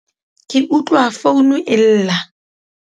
ke utlwa founu e lla